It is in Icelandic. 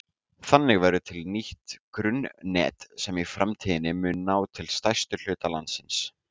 Þannig verður til nýtt grunnnet sem í framtíðinni mun ná til stærsta hluta landsins.